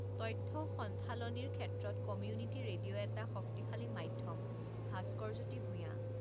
তথ্য সণ্ঢালনিৰ ক্ষেত্ৰত কমিউনিটী ৰেডিঅ' এটা শক্তিশালী মাধ্যম: ভাস্কৰ জ্যোতি ভূঞা